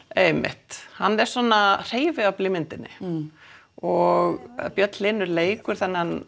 einmitt hann er svona hreyfiafl í myndinni og Björn Hlynur leikur þennan